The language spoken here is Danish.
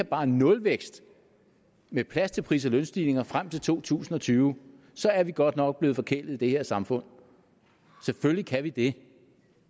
bare nulvækst med plads til pris og lønstigninger frem til to tusind og tyve så er vi godt nok blevet forkælet i det her samfund selvfølgelig kan vi det